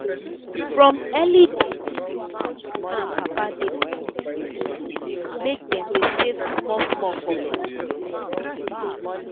from early days plenty mama and papa dey push their pikin make dem dey save small small for piggy bank.